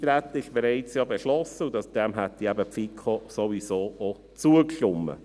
Das Eintreten wurde ja bereits beschlossen, und die FiKo hätte diesem ohnehin auch zugestimmt.